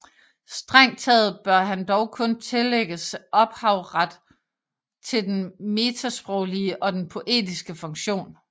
Strengt taget bør han dog kun tillægges ophavet til den metasproglige og den poetiske funktion